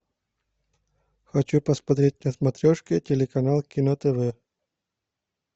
хочу посмотреть на смотрешке телеканал кино тв